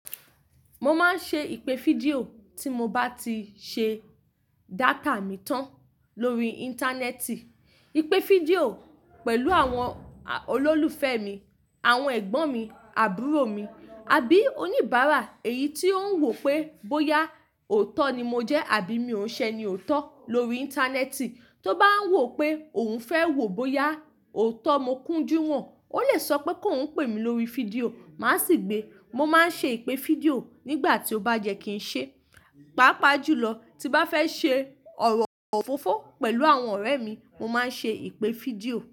Mo máa ń ṣe ìpè fídíò tí mo bá ti ṣe data mi tán lórí Íńtánẹ́ẹ̀tì. Ìpè fídíò pẹ̀lú àwọn olólùfẹ́ mi, àwọn ẹ̀gbọ́n mi, àbúrò mi, àbí oníbàárà èyí tí ó ń wò pé bóyá òótọ́ ni mo jẹ́ àbí mi ò n ṣẹ ni òótọ́ lórí Íńtánẹ́ẹ̀tì. Tó bá ń wò pé òun fẹ́ wò bóyá òótọ́ mo kúnjú wọn, ó lè sọ pé kó ouń pè mí lórí fídíò, màá sì gbé. Mo máa ń ṣe ìpè fídíò nígbà tí ó bá yẹ́ kí n ṣe. Pápá jùlọ tí bá fẹ́ ṣe ọ̀rọ̀ òfófó pẹ̀lú àwọn ọ̀rẹ́ mi, mo máa ń ṣe ìpè fídíò.